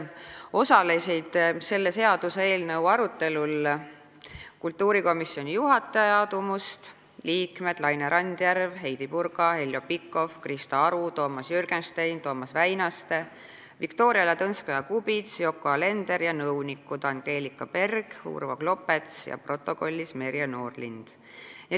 Osalesid kultuurikomisjoni juhataja Aadu Must, liikmed Laine Randjärv, Heidy Purga, Heljo Pikhof, Krista Aru, Toomas Jürgenstein, Toomas Väinaste, Viktoria Ladõnskaja-Kubits, Yoko Alender ning nõunikud Angelika Berg, Urvo Klopets ja protokollis Merje Noorlind.